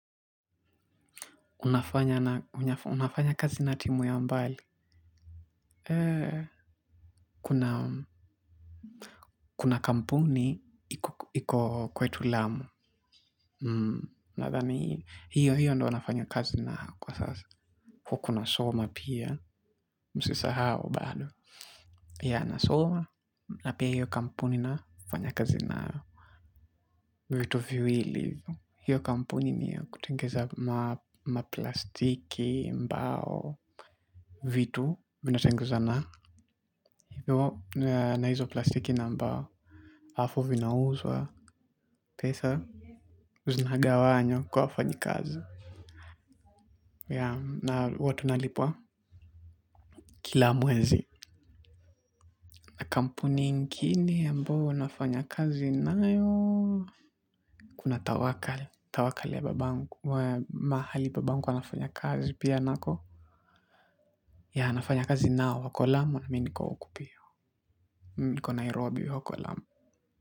Unafanya kazi na timu ya mbali, kuna kampuni iku kwetu lamu, na dhani, hiyo hiyo ndo wanafanyo kazi na kwa sasa, kukuna soma pia, msisa hao bado. Ya, nasoma, napia hiyo kampuni na ufanya kazi na vitu viwili, hiyo kampuni ni kutengeza maplastiki, mbao, vitu vinatengeza na. Na hizo plastiki nambao. Afu vinauzwa. Pesa uzunaga wanywa kwa fanyi kazi. Ya na watu nalipua. Kila mwezi kampuni inkine yambao nafanya kazi na yo. Kuna tawakali Tawakali ya babangu. Mahali babangu wanafanya kazi pia nako. Ya nafanya kazi nao wako lamu. Na miniko oku pia. Niko Nairobi wako lamu.